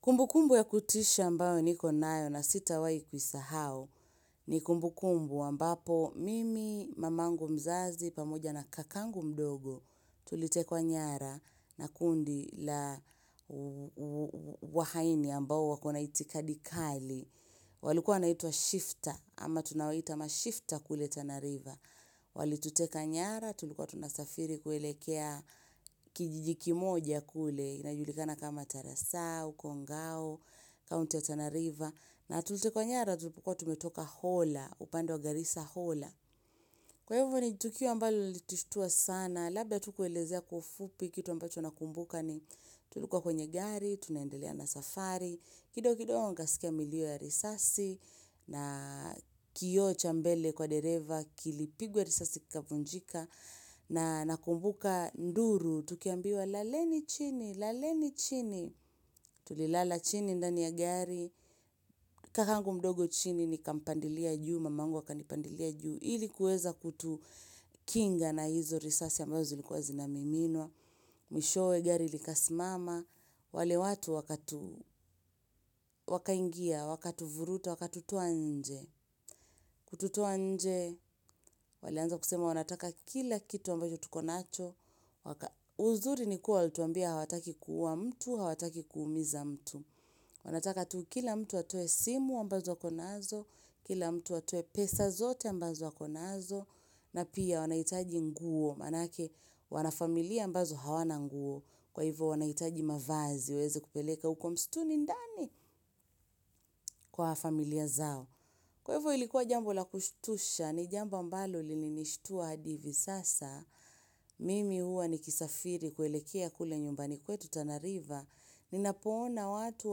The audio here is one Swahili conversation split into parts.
Kumbu kumbu ya kutisha ambayo ni konayo na sita wai kuisahau ni kumbu kumbu ambapo mimi mamangu mzazi pamoja na kakangu mdogo tulitekwa nyara na kundi la wahaini ambao wakona itikadikali. Walikuwa wanaitwa shifter ama tunawaita ma shifter kule tanariva Walituteka nyara tulikuwa tunasafiri kuelekea kijiji kimoja kule inajulikana kama tarasau, kongao, kaunti ya tanariva na tulitekwa nyara tulikuwa tumetoka hola, upande wa garisa hola Kwa hivyo ni tukio ambalo lilitushtua sana Labda tukuelezea kwa ufupi kitu ambacho nakumbuka ni tulikuwa kwenye gari, tunaendelea na safari kidogo kidogo nikasikia milio ya risasi na kioo chambele kwa dereva kilipigwa risasi kikavunjika na nakumbuka nduru tukiambiwa laleni chini, laleni chini tulilala chini ndani ya gari kakangu mdogo chini ni kampandilia juu mamangu akani pandilia juu ilikuweza kutukinga na hizo risasi ambazo zilikuwa zinamiminua mwishowe gari likasimama wale watu waka ingia waka tuvuruta, waka tutoanje, kututoanje, walianza kusema wanataka kila kitu ambacho tukonacho, uzuri ni kuwa walitwambia hawataki kuua mtu, hawataki kuumiza mtu, wanataka tukila mtu atoe simu ambazo akonazo, kila mtu atoe pesa zote ambazo akonazo, na pia wanahitaji nguo, maanake wanafamilia ambazo hawana nguo, kwa hivyo wanahitaji mavazi, waweze kupeleka hukomstuni ndani kwa familia zao, Kwahivyo ilikuwa jambo la kushtusha, ni jambo ambalo lilinishtua hadi hivi sasa. Mimi huwa ni kisafiri kuelekea kule nyumbani kwetu tanariva. Ninapoona watu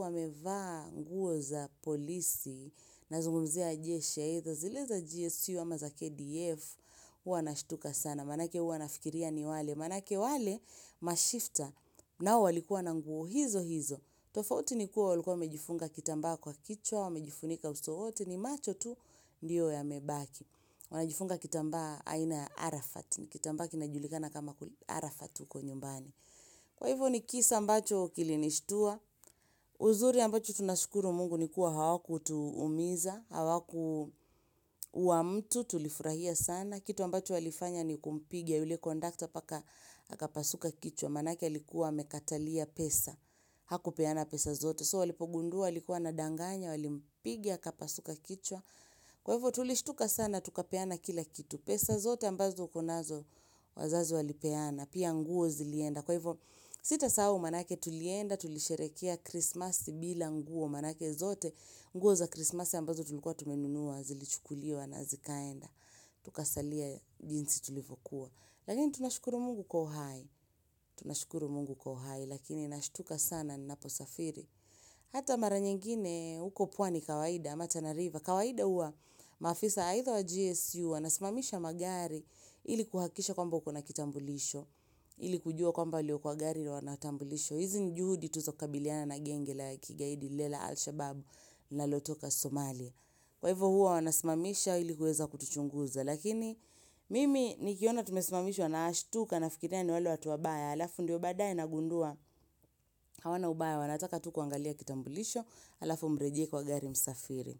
wamevaa nguo za polisi na zungumzia jeshi, zileza GSU ama za KDF, huwa nashtuka sana. Maanake huwa nafikiria ni wale, maanake wale mashifta nao wa likuwa nanguo hizo hizo. Tofauti ni kuwa walikua wamejifunga kitamba kwa kichwa, wamejifunika usowote ni macho tu, ndiyo ya mebaki. Wanajifunga kitambaa aina ya arafat, ni kitamba kinajulikana kama arafat huko nyumbani. Kwa hivyo ni kisa ambacho kilinishtua, uzuri ambacho tunashukuru mungu ni kuwa hawaku tuumiza, hawaku uamtu tulifurahia sana. Kitu ambacho walifanya ni kumpiga yule kondakta paka aka pasuka kichwa, manake alikuwa amekatalia pesa, hakupeana pesa zote. So walipogundua, alikuwa ana danganya, walimpiga, akapasuka kichwa. Kwa hivyo tulishtuka sana, tukapeana kila kitu. Pesa zote ambazo ukonazo wazazi walipeana. Pia nguo zilienda. Kwa hivyo sitasahaumaanake tulienda, tulisherehekea Christmas bila nguo. Maanake zote, nguo za Christmas ambazo tulikuwa tumenunua, zilichukuliwa na zikaenda. Tukasalia jinsi tulivyokuwa. Lakini tunashukuru mungu kwauhai. Tunashukuru mungu kwauhai. Lakini nashtuka sana, ninaposafiri. Hata maranyengine, huko pwani kawaida, ama tana river. Kawaida hua, maafisa aidha wa GSU, wanasimamisha magari ili kuhahakisha kwamba ukona kitambulisho. Ili kujua kwamba walio kwa gariwanatambulisho. Hizi nijuhudi tu za kukabiliana na genge la kigaidi lilela Al-Shabaab linalotoka Somalia. Kwa hivyo hua wanasimamisha ili kuweza kutuchunguza. Lakini, mimi nikiona tumesimamishwa naashtuka na fikiria niwale watu wabaya. Alafu ndiyo baadaye na gundua hawana ubaya wanataka tu kuangalia kitambulisho alafu mrejee kwa gari msafiri.